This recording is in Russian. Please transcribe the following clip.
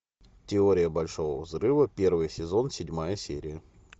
теория большого взрыва первый сезон седьмая серия